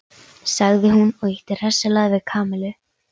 sagði hún og ýtti hressilega við Kamillu.